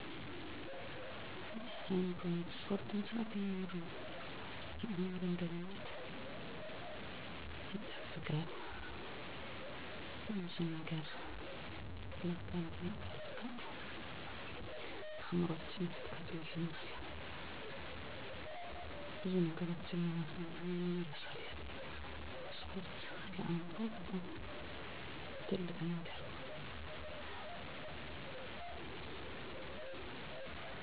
ጭንቀት የህይወት አካል ነው። ውጥረትንና ጭንቀትን ለመቋቋም የሚረዱ ጤናማ መንገዶች አእምሮን በማረጋጋት በአሁኑ ጊዜ ላይ ማተኮር ጭንቀትን ለመቀነስ ይረዳል። ለምሳሌ፣ በጸጥታ ቦታ ላይ በመቀመጥ ለጥቂት ደቂቃዎች ትኩረትን በአተነፋፈስ ላይ ማድረግ። ስፖርት መስራት: የአካል ብቃት እንቅስቃሴ ጭንቀትን ከማስወገድ ባለፈ ስሜትን ያድሳል። እንደ ሩጫ፣ ዮጋ ወይም ሌሎች የአካል ጉዳተኛ ስፖርቶችን ማህበራዊ ግንኙነትን ማጠናከር ከቤተሰብና ከጓደኞች ጋር ጊዜ ማሳለፍ ስሜትን ለማሻሻልና ጭንቀትን ለመቀነስ ይረዳል። በቂ እንቅልፍ ማግኘት። በየቀኑ በተመሳሳይ ሰዓት ለመተኛትና ለመንቃት መሞከር። ጤናማ ምግብ መመገብ የተመጣጠነ ምግብ መመገብ ሰውነትንና አእምሮን ጤናማ ያደርጋል። ብዙ ፍራፍሬዎችን፣ አትክልቶችንና ሙሉ እህሎችን መመገብ። ችግሮችን መፍታት።